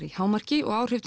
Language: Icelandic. í hámarki og áhrif